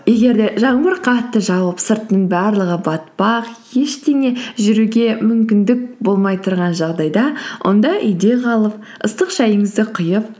егер де жаңбыр қатты жауып сырттың барлығы батпақ ештеңе жүруге мүмкіндік болмай тұрған жағдайда онда үйде қалып ыстық шайыңызды құйып